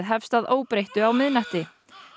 hefst að óbreyttu á miðnætti